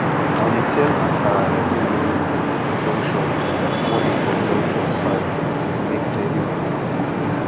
e dey sell akara every morning for junction morning for junction side to make steady money